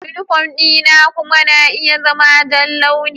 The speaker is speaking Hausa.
Yunifom dina kuma na iya zama ja launi.